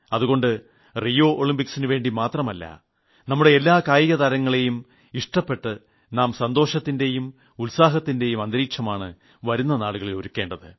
അതുകൊണ്ട് റിയോ ഒളിമ്പിക്സിന് വേണ്ടി മാത്രമല്ല നമ്മുടെ എല്ലാ കായികതാരങ്ങളെയും ഇഷ്ടപ്പെട്ട് നാം സന്തോഷത്തിന്റെയും ഉത്സാഹത്തിന്റെയും അന്തരീക്ഷമാണ് വരുന്ന നാളുകളിൽ ഒരുക്കേണ്ടത്